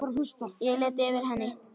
Ég lét það eftir henni.